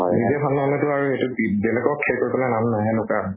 নিজে ভাল নহলেটো আৰু এইটো কি বেলেগক ন তাত।